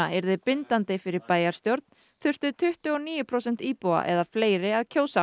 yrði bindandi fyrir bæjarstjórn þurftu tuttugu og níu prósent íbúa eða fleiri að kjósa